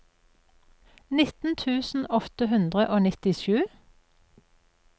nitten tusen åtte hundre og nittisju